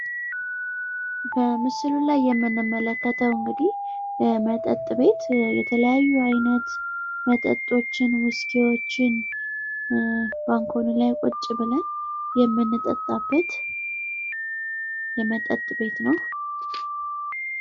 በምስሉ ላይ የምንመለከተው የመጠጥ ቤት ሲሆን የተለያዩ መጠጦችን ፣ ውስኪዎችን ባንኮሊ ላይ ቁጭ ብለን የምንጠጣበት የመጠጥ ቤት ነው።